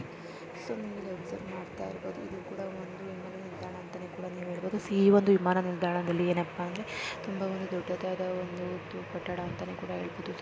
So ನೀವು ಇಲ್ಲಿ observe ಮಾಡುತ್ತಿರಬಹುದು ಇದು ಒಂದು ವಿಮಾನ ನಿಲ್ದಾಣ ಅಂತಾನೆ ಹೇಳಬಹುದು. ಈ ಒಂದು ವಿಮಾನ ನಿಲ್ದಾಣದಲ್ಲಿ ತುಂಬಾ ದೊಡ್ಡದಾದ ಒಂದು ಕಟ್ಟಡ ಅಂತ ಹೇಳಬಹುದು.